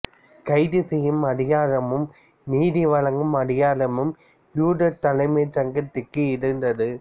கைதுசெய்யும் அதிகாரமும் நீதி வழங்கும் அதிகாரமும் யூதத் தலைமைச் சங்கத்திற்கு இருந்தது